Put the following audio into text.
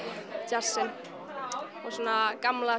djassinn og svona gamla